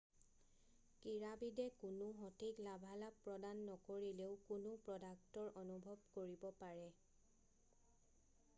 ক্ৰীড়াবিদে কোনো সঠিক লাভালাভ প্ৰদান নকৰিলেও কোনো প্ৰ'ডাক্টৰ অনুভৱ কৰিব পাৰে